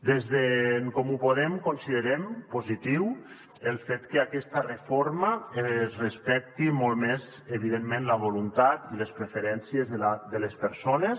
des d’en comú podem considerem positiu el fet que aquesta reforma respecti molt més evidentment la voluntat i les preferències de les persones